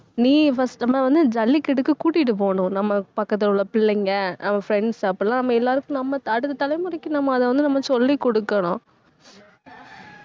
நீ first நம்ம வந்து ஜல்லிக்கட்டுக்கு கூட்டிட்டு போகணும். நம்ம பக்கத்துல உள்ள பிள்ளைங்க அவன் friends அப்படிலாம் நம்ம எல்லாருக்கும் நம்ம அடுத்த தலைமுறைக்கு நம்ம அதை வந்து நம்ம சொல்லிக் கொடுக்கணும்